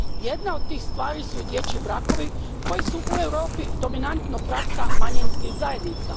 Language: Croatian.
Jedna od tih stvari su i dječji brakovi koji su u Europi dominantno praksa manjinskih zajednica.